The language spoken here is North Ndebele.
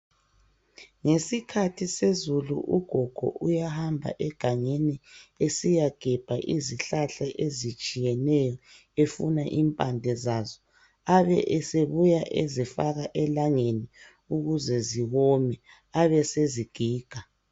ngesikathi sezulu ugogo uyhamba egangeni esiyagebha izihlahla ezitshiyeneyo efuna impande zaso abe esebuya ezifaka elangeni ukuze ziwme abesezigiga